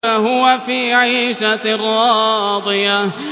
فَهُوَ فِي عِيشَةٍ رَّاضِيَةٍ